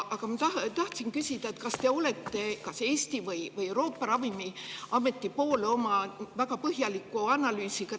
Aga ma tahtsin küsida, kas te olete Eesti või Euroopa ravimiameti poole oma väga põhjaliku analüüsiga.